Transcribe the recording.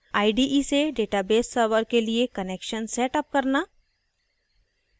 ide से database server के लिए connection set अप करना